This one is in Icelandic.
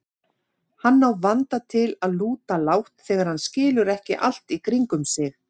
Hann á vanda til að lúta lágt þegar hann skilur ekki allt í kringum sig.